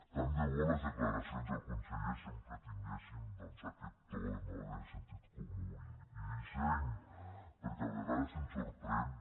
tant de bo les declaracions del conseller sempre tinguessin doncs aquest to de sentit comú i seny perquè a vegades ens sorprèn